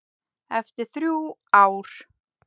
Eftir þrjú ár.